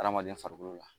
Adamaden farikolo la